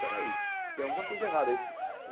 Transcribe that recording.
Peraí, tem alguma coisa errada aí.